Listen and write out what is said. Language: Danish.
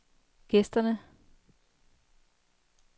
gæsterne